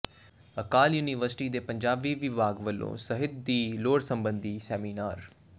ਅਕਾਲ university ਦੇ ਪੰਜਾਬੀ ਵਿਭਾਗ ਵਲੋਂ ਸਾਹਿਤ ਦੀ ਲੋੜ ਸਬੰਧੀ ਸੈਮੀਨਾਰ